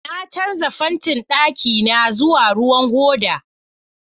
Na canza fantin ɗakina zuwa ruwan hoda